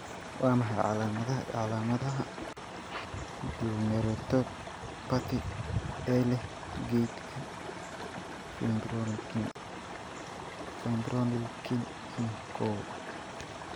Waa maxay calaamadaha iyo calaamadaha Glomerulopathy ee leh kaydka fibronectin kow?